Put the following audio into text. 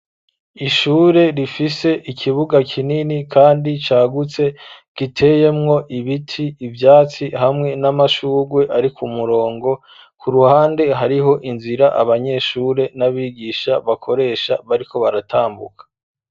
Ishure rifise ikibuga kinini kandi cagutse giteyemwo ibiti ivyatsi hamwe n'amashugwe ariko umurongo ku ruhande hariho inzira abanyeshure n'abigisha bakoresha bariko baratambuka.